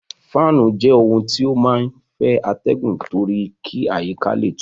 Fáànù jẹ́ ohun tí ó máa ń fẹ́ atẹgun torí kí àyíká le tutù.